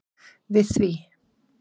við því.